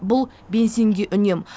бұл бензинге үнем